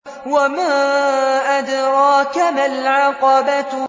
وَمَا أَدْرَاكَ مَا الْعَقَبَةُ